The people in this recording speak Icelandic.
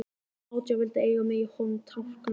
Átján vildu eiga mig í honum Tálknafirði.